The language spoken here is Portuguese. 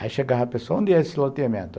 Aí chegava a pessoa, onde é esse loteamento?